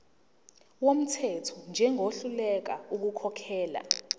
wumthetho njengohluleka ukukhokhela